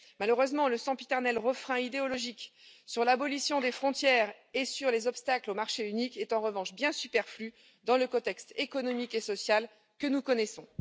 Malheureusement, le sempiternel refrain idéologique sur l'abolition des frontières et sur les obstacles au marché unique est en revanche bien superflu dans le contexte économique et social que nous connaissons.